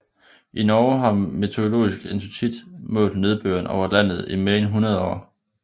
I Norge har Meteorologisk institutt målt nedbøren over landet i mere end 100 år